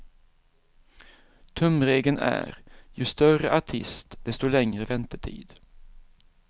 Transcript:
Tumregeln är ju större artist, desto längre väntetid.